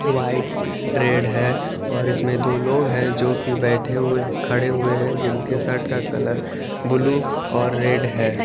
White red है और इसमें दो लोग है जो की बैठे हुए खरे हुए है जिनके शर्ट का कलर बुलु और रेड है।